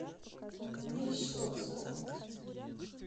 мещовску